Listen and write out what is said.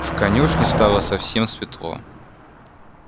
в конюшне стало совсем светло